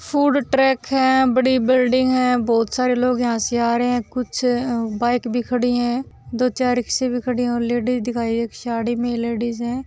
Food truck है बड़ी building है बहुत सारे लोग यहाँ से आ रहे है कुछ बाइक भी खड़ी है दो चार रिक्शे भी खड़ी है और लेडीज दिखाई दे एक साडी में लेडीज है।